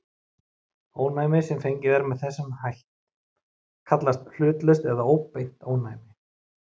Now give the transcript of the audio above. Ónæmi sem fengið er með þessum hætt kallast hlutlaust eða óbeint ónæmi.